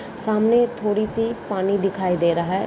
सामने थोड़ी सी पानी दिखाई दे रहा है।